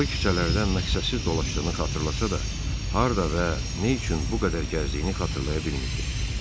O küçələrdən məqsədsiz dolaşdığını xatırlasa da, harda və nə üçün bu qədər gəzdiyini xatırlaya bilmirdi.